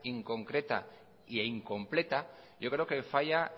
inconcreta e incompleta lo que yo creo que falla